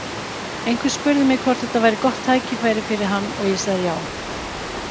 Einhver spurði mig hvort þetta væri gott tækifæri fyrir hann og ég sagði já.